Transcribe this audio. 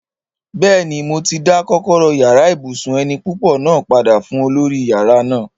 Bẹ́ẹ̀ni, mo ti dá kọ́kọ́rọ́ yàrá ibùsùn eni púpọ̀ náà padà fún olórí yàrá náà